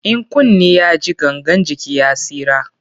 In kunni ya ji, gangan jiki ya tsira.